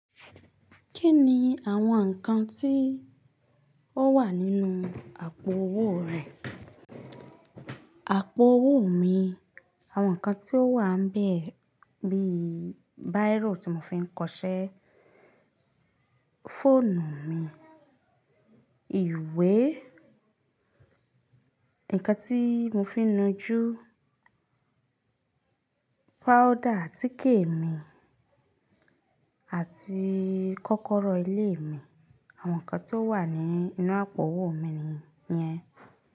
Kí ni àwọn nǹkan tí ó wà nínú àpò owó rẹ̀? Àpò owó mi, àwọn nǹkan tí ó wà n bẹ́ẹ̀ bí i bírò tí mo fi ń kọṣẹ́, fóònù mi, ìwé, nǹkan tí mo fi ń nu ojú, powder, àtike mi, àti kọ́kọ́rọ́ ilé mi. Àwọn nǹkan tó wà nínú àpò owó mi nìyẹn.